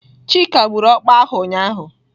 Chika gburu ọkpa ahụ ụnyahụ.